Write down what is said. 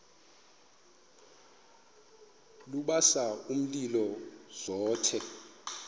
lubasa umlilo zothe